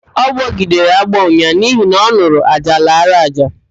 Ọ gbọgidere agbọọ unyaahụ n'ihi na ọn̄ụrụ ájá lara ájá